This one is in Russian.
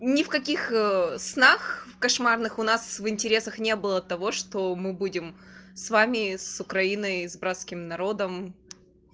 ни в каких снах кошмарных у нас в интересах не было того что мы будем с вами с украиной с братским народом